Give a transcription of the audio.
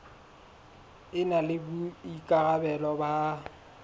e na le boikarabelo ba